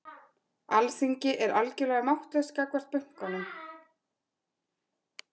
Alþingi er algjörlega máttlaust gagnvart bönkunum